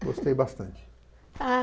Gostei bastante.